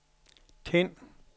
tænd